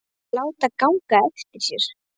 Þær vilja láta ganga eftir sér.